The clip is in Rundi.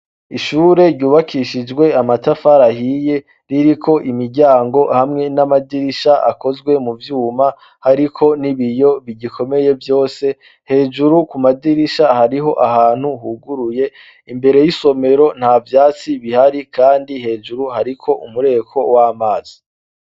Ishure ryubakishijwe amatafari ahiye riri ko imiryango hamwe n'amadirisha akozwe mu vyuma ariko n'ibiyo bigikomeye vyose hejuru ku madirisha hariho ahantu huguruye imbere y'isomero nta byatsi bihari kandi hejuru hariko umureko w'amazi.